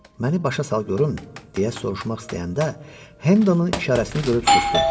Məni başa sal görüm, deyə soruşmaq istəyəndə, Hendonun işarəsini görüb susdu.